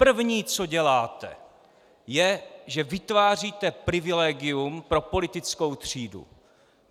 První, co děláte, je, že vytváříte privilegium pro politickou třídu.